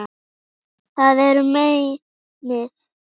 Það er meinið.